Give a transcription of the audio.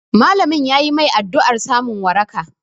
Malamin yayi mai addu'ar samun waraka